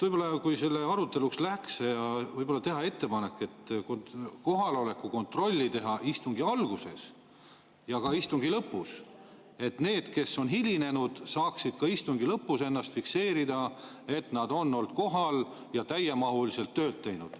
Kuna selle aruteluks läks, siis võib-olla teeksin ettepaneku, et kohaloleku kontrolli võiks teha istungi alguses ja ka istungi lõpus, nii et need, kes on hilinenud, saaksid istungi lõpus fikseerida, et nad on olnud kohal ja täiemahuliselt tööd teinud.